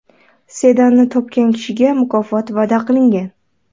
Sedanni topgan kishiga mukofot va’da qilingan.